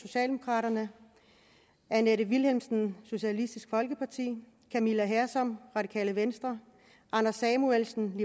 annette vilhelmsen camilla hersom anders samuelsen